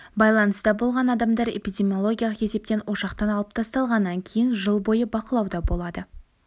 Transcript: байланыста болған адамдар эпидемиологиялық есептен ошақтан алып тасталғаннан кейін жыл бойы бақылауда болады